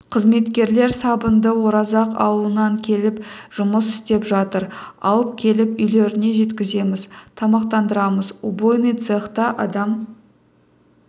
қызметкерлер сабынды оразақ ауылынан келіп жұмыс істеп жатыр алып келіп үйлеріне жеткіземіз тамақтандырамыз убойный цехта адам